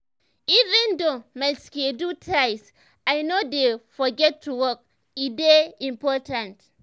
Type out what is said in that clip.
even though my schedule tight i no dey forget to walk e dey important.